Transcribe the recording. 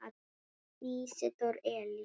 Ísidór Elís.